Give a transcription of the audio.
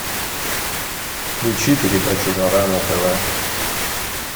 включи передачу жара на тв